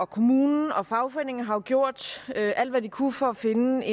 kommunen og fagforeningen har jo gjort alt hvad de kunne for at finde